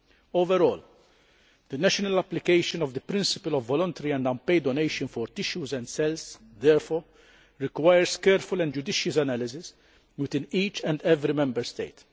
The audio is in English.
Overall, the national application of the principle of voluntary and unpaid donation for tissues and cells therefore requires careful and judicious analysis within each and every Member State.